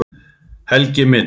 Helgi minn.